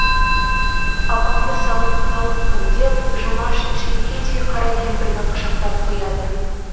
апамды сағынып қалыппын деп жұмаш шүйкедей қара кемпірді құшақтап қояды